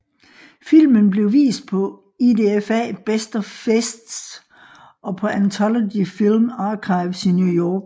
Filmen blev vist på IDFA Best of Fests og på Antology Film Archives i New York